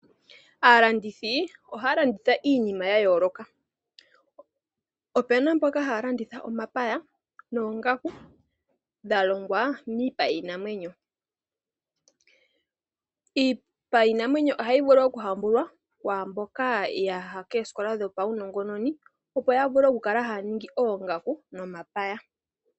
Aalandithi ohaya landitha iinima ya yooloka. Opena mboka haya landitha omapaya noongaku dha longwa miipa yiinamwenyo. Iipa yiinamwenyo ohayi vulu omuhambulwa kwaambokayaha koosikola dho paunongononi, opo ya vule okulala haya ningi oongaku nomapaya.